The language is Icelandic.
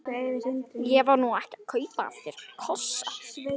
Ég var nú ekki að kaupa af þér kossa.